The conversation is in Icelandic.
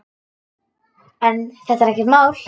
En þetta er ekkert mál.